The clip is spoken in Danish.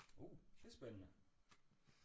Uh det er spændende